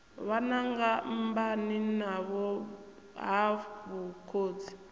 vhananga ambani navho hafhu khotsi